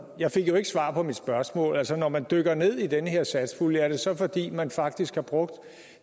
jeg fik jo ikke svar på mit spørgsmål altså når man dykker ned i den her satspulje er det så fordi man faktisk har brugt